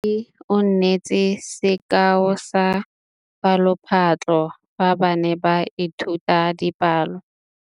Moithuti o neetse sekaô sa palophatlo fa ba ne ba ithuta dipalo.